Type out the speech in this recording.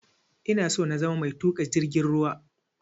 Ina so na zama mai tuƙa jirgin ruwa